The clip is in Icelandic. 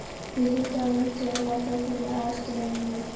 Ég hitti hann aldrei nema á fundum í aðalstöðvunum í